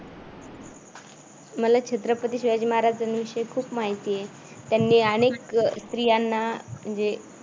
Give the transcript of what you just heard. मला छत्रपती शिवाजी महाराजां विषयी खूप माहिती आहे. त्यांनी अनेक अह स्त्रियांना जे